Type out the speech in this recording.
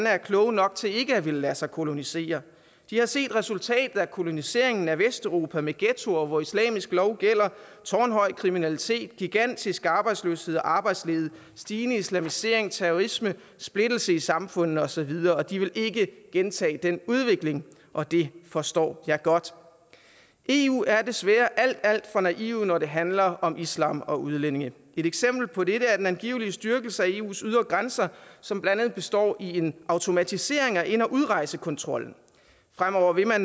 er kloge nok til ikke at ville lade sig kolonisere de har set resultatet af koloniseringen af vesteuropa med ghettoer hvor islamisk lov gælder tårnhøj kriminalitet gigantisk arbejdsløshed og arbejdslede stigende islamisering terrorisme splittelse i samfundene og så videre de vil ikke gentage den udvikling og det forstår jeg godt eu er desværre alt alt for naive når det handler om islam og udlændinge et eksempel på det er den angivelige styrkelse af eus ydre grænser som blandt andet består i en automatisering af ind og udrejsekontrollen fremover vil